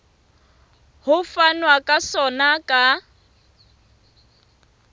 ho fanwa ka sona ka